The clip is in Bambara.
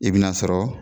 I bi n'a sɔrɔ